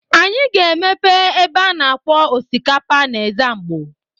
Anyị ga-emepe ebe a na-akwọ osikapa n'Ezzamgbo.